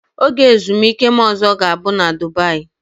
Oge ezumike m ọzọ ga-abụ na Dubaị.